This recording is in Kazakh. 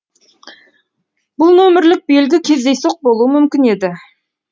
бұл нөмірлік белгі кездейсоқ болуы мүмкін еді